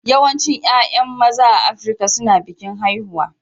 Yawancin 'ya'yan maza a Afirka suna bikin haihuwa